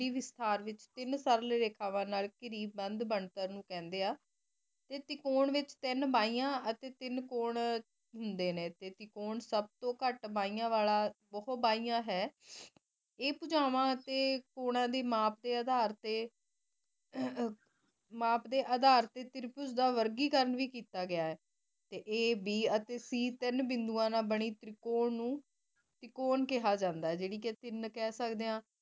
ਮਾਪ ਦੇ ਅਧਾਰ ਤੇ ਤ੍ਰਿਪੁਜ਼ਾ ਦਾ ਵਰਗੀ ਕਾਨ ਵੀ ਕੀਤਾ ਗਯਾ ਆਯ A B C ਅਤੀ ਸੀ ਤੀਨ ਬਿੰਦੂਆਂ ਨਾਲ ਬਾਨੀ ਤਰੀਕੋੰ ਨੂ ਟੀਕੋੰ ਕੇਹਾ ਜਾਂਦਾ ਆਯ ਯਾਨੀ ਕੇ ਤੀਨ ਕਹ ਸਦੇ ਆਂ